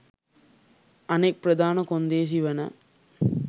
අනෙක් ප්‍රධාන කොන්දේසි වන